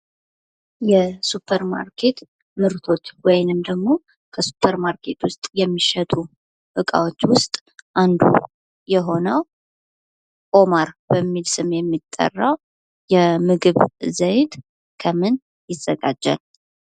የሱፐር ማርኬት ምርቶች ወይንም ደግሞ ከሱፐር ማርኬት የሚሸጡ እቃዎች ውስጥ አንዱ የሆነው ኦማር በሚል ስም የሚጠራው የምግብ ዘይት ከምን ይዘጋጃል?